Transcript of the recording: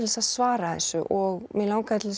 að svara þessu og mig langaði til